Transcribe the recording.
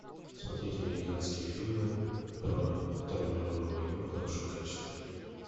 смотреть американские фильмы про вторую мировую войну в хорошем качестве